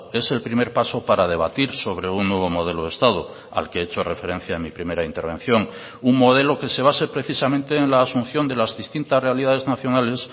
es el primer paso para debatir sobre un nuevo modelo de estado al que he hecho referencia en mi primera intervención un modelo que se base precisamente en la asunción de las distintas realidades nacionales